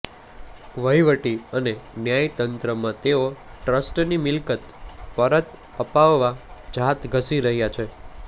વહીવટી અને ન્યાય તંત્રમાં તેઓ ટ્રસ્ટની મિલકત પરત અપાવવા જાત ઘસી રહ્યા છે